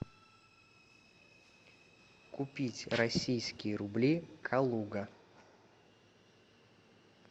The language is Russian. купить российские рубли калуга